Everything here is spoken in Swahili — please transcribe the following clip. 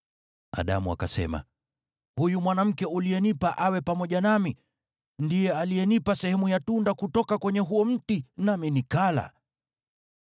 Adamu akasema, “Huyu mwanamke uliyenipa awe pamoja nami alinipa sehemu ya tunda kutoka kwenye huo mti, nami nikala.”